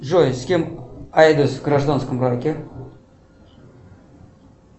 джой с кем айдос в гражданском браке